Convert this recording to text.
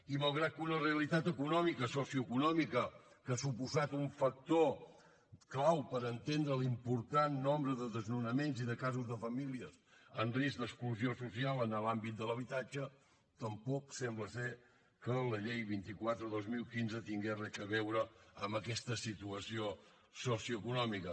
i malgrat que una realitat econòmica socioeconòmica que ha suposat un factor clau per entendre l’important nombre de desnonaments i de casos de famílies en risc d’exclusió social en l’àmbit de l’habitatge tampoc sembla que la llei vint quatre dos mil quinze tingués res a veure amb aquesta situació socioeconòmica